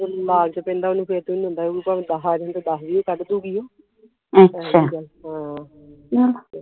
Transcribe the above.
ਜਦੋ ਓਹਨੂੰ ਲਾਲਚ ਪੈਂਦਾ ਫਿਰ ਓਹਨੂੰ ਕੋਈ ਨਹੀਂ ਹੁੰਦਾ ਭਾਵੇ ਦਸ ਆ ਜਾਣ ਤੇ ਦਸ ਵੀ ਕੱਢਦੂਗੀ ਉਹ ਹਾਂ